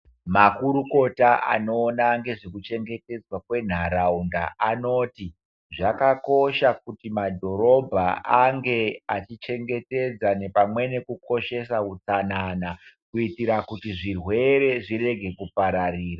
Makurukota anoona nezvekuchengetedzwa kwenharaunda anoti,, "Zvakakosha kuti madhorobha ange achichengetedza pamwe nekukoshesa utsanana, kutira kuti zvirwere zvirege kupararira."